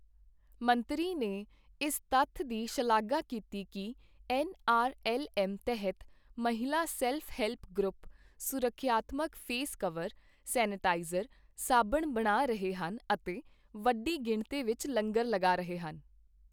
ਮੰਤਰੀ ਨੇ ਇਸ ਤੱਥ ਦੀ ਸ਼ਲਾਘਾ ਕੀਤੀ ਕਿ ਐੱਨ ਆਰ ਐੱਲ ਐੱਮ ਤਹਿਤ ਮਹਿਲਾ ਸੈਲਫ ਹੈਲਪ ਗਰੁੱਪ ਸੁਰੱਖਿਆਤਮਕ ਫ਼ੇਸ ਕਵਰ, ਸੈਨੀਟਾਈਜ਼ਰ, ਸਾਬਣ ਬਣਾ ਰਹੇ ਹਨ ਅਤੇ ਵੱਡੀ ਗਿਣਤੀ ਵਿੱਚ ਲੰਗਰ ਲਗਾ ਰਹੇ ਹਨ।